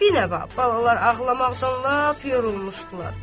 Binəva balalar ağlamaqdan lap yorulmuşdular.